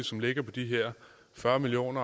som ligger på de her fyrre million